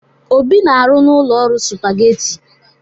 Obi na-arụ n'ụlọ ọrụ Supageti.